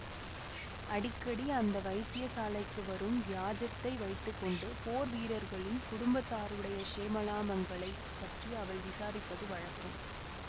அடிக்கடி அந்த வைத்திய சாலைக்கு வரும் வியாஜத்தை வைத்து கொண்டு போர் வீரர்களின் குடும்பத்தாருடைய க்ஷேமலாபங்களைப் பற்றி அவள் விசாரிப்பது வழக்கம்